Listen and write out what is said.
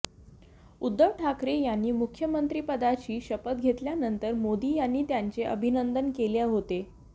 उद्धव ठाकरे यांनी मुख्यमंत्रीपदाची शपथ घेतल्यानंतर मोदी यांनी त्यांचे अभिनंदन केले होते